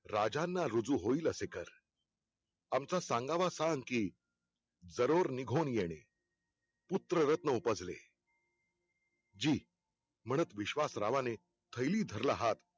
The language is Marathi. राजांना रुजु होईल असे कर. आमचा सांगावा सांग कि जरूर निघुन येणे पुत्ररत्न उपजले. जी म्हणत विश्वासरावाने थैली धरला हात